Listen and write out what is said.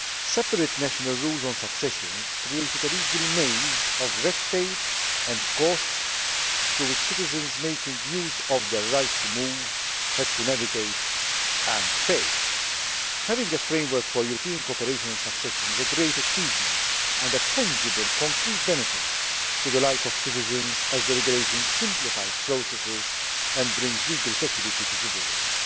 Separate national rules on succession created a legal maze of red tape and costs through which citizens making use of the right to move had to navigate and pay. Having a framework for European cooperation on succession is a great achievement and a tangible concrete benefit to the life of citizens, as the Regulation simplifies processes and brings legal security to citizens.